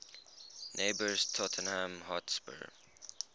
neighbours tottenham hotspur